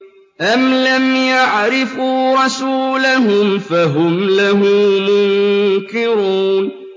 أَمْ لَمْ يَعْرِفُوا رَسُولَهُمْ فَهُمْ لَهُ مُنكِرُونَ